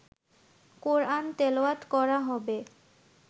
কোরআন তেলাওয়াত করা হবে